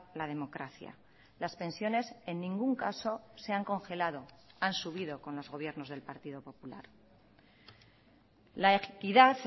la democracia las pensiones en ningún caso se han congelado han subido con los gobiernos del partido popular la equidad